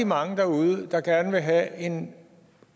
mange derude der gerne vil have en